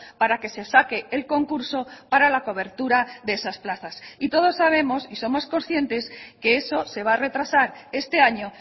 para que se saque el concurso para la cobertura de esas plazas y todos sabemos y somos conscientes que eso se va a retrasar este año